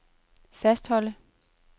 fastholde